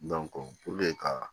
ka